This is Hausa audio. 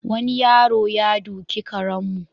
Wani yaro ya doki karenmu.